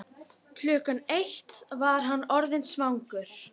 Klukkan eitt var hann orðinn svangur.